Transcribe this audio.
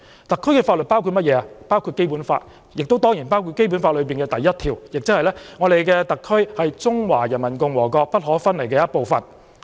特區的法律包括《基本法》，亦當然包括《基本法》的第一條，即特區是中華人民共和國不可分離的部分。